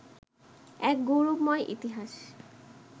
এক গৌরবময় ইতিহাস